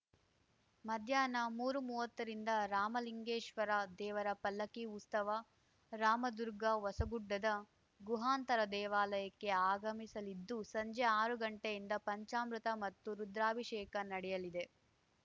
ಮಧ್ಯಾಹ್ನ ಮೂರುಮುವ್ವತ್ತರಿಂದ ರಾಮಲಿಂಗೇಶ್ವರ ದೇವರ ಪಲ್ಲಕ್ಕಿ ಉಸ್ತವ ರಾಮದುರ್ಗ ಹೊಸಗುಡ್ಡದ ಗುಹಾಂತರ ದೇವಾಲಯಕ್ಕೆ ಆಗಮಿಸಲಿದ್ದು ಸಂಜೆ ಆರು ಗಂಟೆಯಿಂದ ಪಂಚಾಮೃತ ಮತ್ತು ರುದ್ರಾಭಿಷೇಕ ನಡೆಯಲಿದೆ